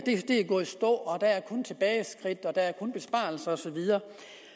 gået i stå der er kun tilbageskridt der er kun besparelser og så videre